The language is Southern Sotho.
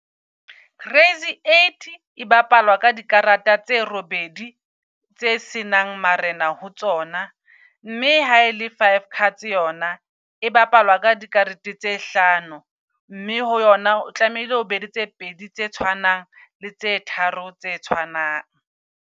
Crazy eight e bapalwa ka dikarata tse robedi tse senang marena ho tsona. Mme ha ele five cards yona, e bapalwa ka dikarete tse hlano. Mme ho yona o tlamehile o be le tse pedi tse tshwanang le tse tharo tse tshwanang.